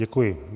Děkuji.